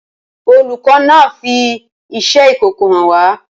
Olùkọ́ náà fi iṣẹ́ ìkòkò hàn wá.